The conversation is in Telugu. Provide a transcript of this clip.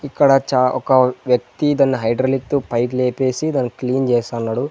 ఇక్కడ చా ఒక వ్యక్తి దాన్ని హైడ్రాలిక్ తో పైకి లేపేసి దానికి క్లీన్ చేస్తాన్నాడు.